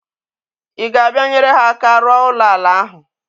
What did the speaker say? Ị ga-abịa nyere ha aka rụọ ụlọ ala ahụ?